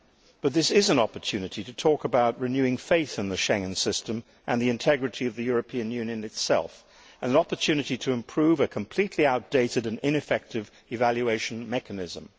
But this is an opportunity to talk about renewing faith in the Schengen system and the integrity of the European Union itself, and an opportunity to improve a completely outdated and ineffective evaluation mechanism.